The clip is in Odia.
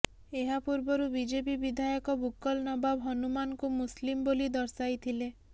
ଏହାପୂର୍ବରୁ ବିଜେପି ବିଧାୟକ ବୁକ୍କଲ ନବାବ ହନୁମାନଙ୍କୁ ମୁସଲିମ୍ ବୋଲି ଦର୍ଶାଇଥିଲେ